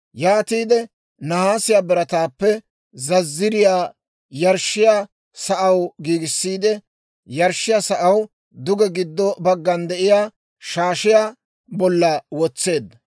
Yaatiide nahaasiyaa birataappe zazziriyaa yarshshiyaa sa'aw giigissiide yarshshiyaa sa'aw duge giddo baggan de'iyaa shaashiyaa bolla wotseedda.